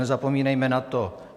Nezapomínejme na to!